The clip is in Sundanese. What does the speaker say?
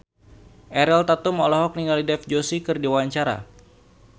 Ariel Tatum olohok ningali Dev Joshi keur diwawancara